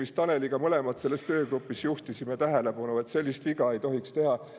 Vist Taneliga mõlemad selles töögrupis isegi juhtisime tähelepanu, et sellist viga ei tohiks teha.